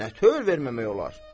Nətövr verməmək olar?